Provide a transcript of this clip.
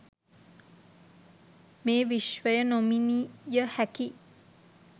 මේ විශ්වය නොමිණීයහැකි